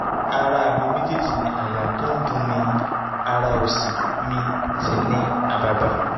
ara mi méjèèjì ní àyà tó ń dunni ara òsì mi sì ní àbàbà